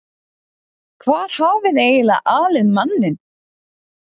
Hvar hafiði eiginlega alið manninn?